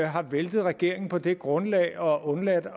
har væltet regeringen på det grundlag og undladt